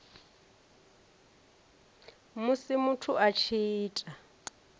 musi muthu a tshi ita